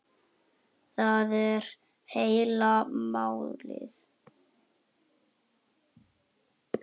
Það er heila málið!